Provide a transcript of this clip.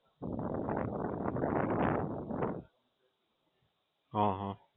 Registered કરાવી Aadhaar card